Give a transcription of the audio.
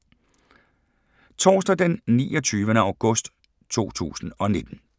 Torsdag d. 29. august 2019